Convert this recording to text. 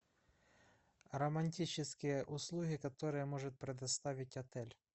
романтические услуги которые может предоставить отель